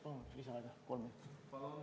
Palun lisaaega kolm minutit!